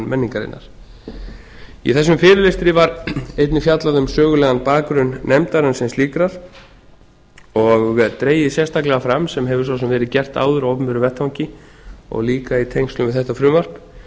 menningarinnar í þessum fyrirlestri var einnig fjallað um sögulegan bakgrunn nefndarinnar sem slíkrar og dregið sérstaklega fram sem hefur svo sem verið gert áður á opinberum vettvangi og líka í tengslum við þetta frumvarp